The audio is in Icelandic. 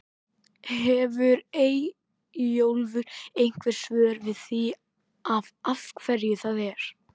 Hefur Eyjólfur einhver svör við því af hverju það er?